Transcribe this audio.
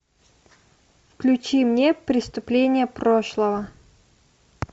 включи мне преступления прошлого